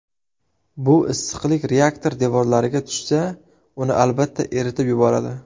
Bu issiqlik reaktor devorlariga tushsa, uni albatta eritib yuboradi.